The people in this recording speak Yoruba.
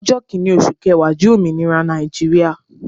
Ọjọ́ kinni oṣù kẹwa jẹ ọjọ́ ominira Nàìjíríà.